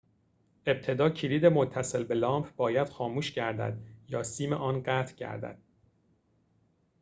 ابتدا کلید متصل به لامپ باید خاموش گردد یا سیم آن قطع گردد